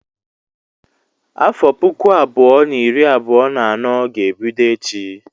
Afọ puku abụọ na iri abụọ na anọ ga-ebido echi.